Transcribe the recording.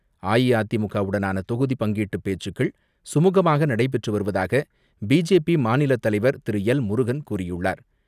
அ இ அதிமுகவுடனான தொகுதி பங்கீட்டு சுமூகமாக நடைபெற்று வருவதாக பி ஜே பி மாநிலத் தலைவர் திருஎல் முருகன் கூறியுள்ளார்.